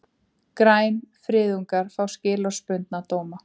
Grænfriðungar fá skilorðsbundna dóma